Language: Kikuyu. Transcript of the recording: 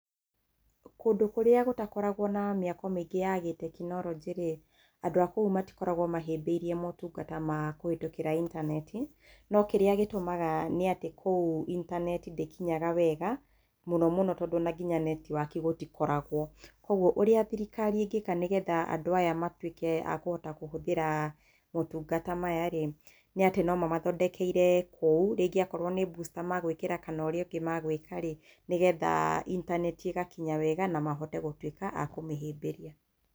Kũndũ kũrĩa gũtakoragwo na mĩako mĩingĩ ya gĩtekinolojĩ-rĩ andũ a kũu matikoragwo mahĩmbĩirie motungata ma kũhĩtũkĩra intaneti no kĩrĩa gĩtũmaga nĩatĩ kũu intaneti ndĩkinyaga wega mũno mũno tondũ nginya netwaki gũtikoragwo kwoguo ũrĩa thirikari ĩngĩka nĩguo andũ aya matwĩke a kũhota kũhũthĩra motungata maya-rĩ , nĩatĩ nomamathondekeire kũu rĩngĩ akorwo nĩ busta magwĩkĩra kana ũrĩa ũngĩ magwĩkarĩ nĩgetha intaneti ĩgatwĩka ya gũkinya wega na mahote gũtwĩka a kũmĩhĩmbĩria.